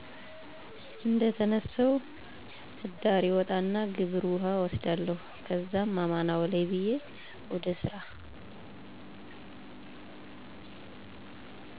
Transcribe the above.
እደተነሳሁ እዳሪ እወጣና ግብረ ውሀ እወስዳለሁ ከዛም አማን አውለኝ ብየ ወደ ሰራ